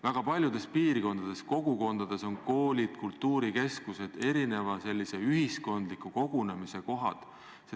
Väga paljudes piirkondades ja kogukondades on koolid kultuurikeskused, ühiskondliku kogunemise kohad.